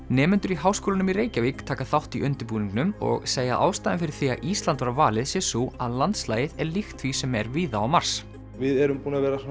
nemendur í Háskólanum í Reykjavík taka þátt í undirbúningnum og segja að ástæðan fyrir því að Ísland var valið sé sú að landslagið er líkt því sem er víða á Mars við erum